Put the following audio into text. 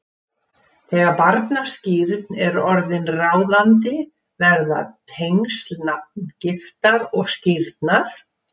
Þegar barnaskírn er orðin ráðandi verða tengsl nafngiftar og skírnar